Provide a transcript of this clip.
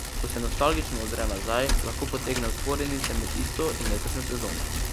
Ko se nostalgično ozre nazaj, lahko potegne vzporednice med tisto in letošnjo sezono.